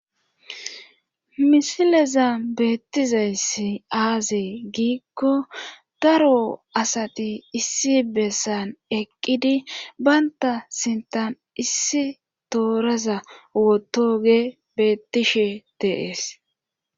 misileza beettizayssi aazee giikko daro asati issi bessan eqqidi baynta sintan issi tooraza wotoge beettishe deees